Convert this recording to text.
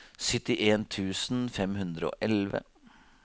syttien tusen fem hundre og elleve